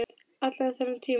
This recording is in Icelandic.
Allan þennan tíma.